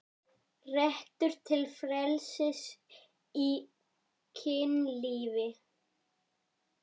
Réttur til frelsis í kynlífi